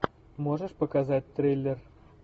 можешь показать триллер